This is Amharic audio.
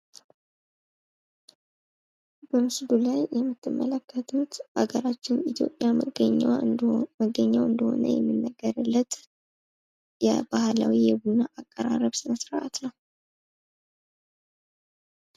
በምስሉ ላይ የምትመለከቱት አገራችን ኢትዮጵያ እንዲሁም መገኛው እንደሆነ የሚነገርለት ባህላዊ የቡና አቀራረብ ስነስርአት ነው።